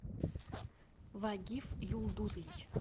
вагиф юлдузович